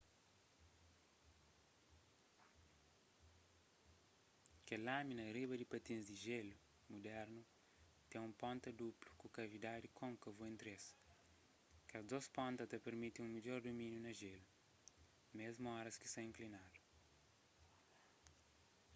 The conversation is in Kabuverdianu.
kel lâmina riba di patins di jelu mudernu ten un ponta duplu ku kavidadi kônkavu entri es kes dôs ponta ta pirmiti un midjor dumíniu na jélu mésmu oras ki sta inklinadu